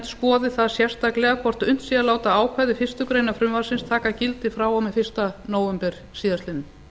skoði það sérstaklega hvort unnt sé að láta ákvæði fyrstu grein frumvarpsins taka gildi frá og með fyrsta nóvember síðastliðnum